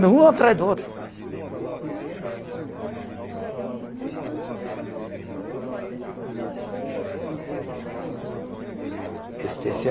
Um atrás do outro. Eh, nós estamos finalizando sua entrevista, só queria saber, o senhor quer contar mais alguma coisa especial?